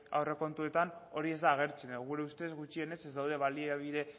aurrekontuetan hori ez da agertzen gure ustez gutxienez ez daude baliabide